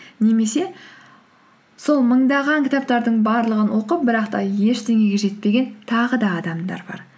немесе сол мыңдаған кітаптардың барлығын оқып бірақ та ештеңеге жетпеген тағы да адамдар бар